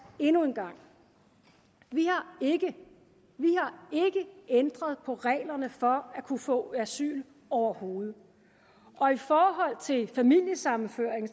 endnu en gang vi har ikke ændret på reglerne for at kunne få asyl overhovedet og i forhold til familiesammenføring